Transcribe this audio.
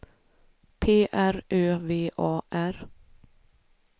P R Ö V A R